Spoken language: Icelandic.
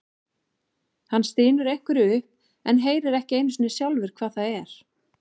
Hann stynur einhverju upp en heyrir ekki einu sinni sjálfur hvað það er.